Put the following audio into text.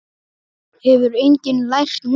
Hefur enginn lært neitt?